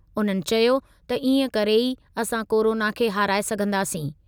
उन्हनि चयो त इएं करे ई असां कोरोना खे हाराए सघंदासीं।